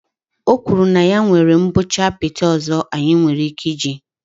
O kwuru na ya nwere mgbọchi apịtị ọzọ anyị nwere ike iji